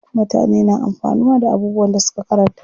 Mutane na amfanuwa da abubuwan da suka karanta.